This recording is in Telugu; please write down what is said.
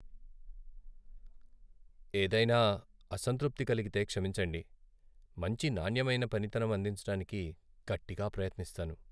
ఏదైనా అసంతృప్తి కలిగితే క్షమించండి, మంచి నాణ్యమైన పనితనం అందించటానికి గట్టిగా ప్రయత్నిస్తాను.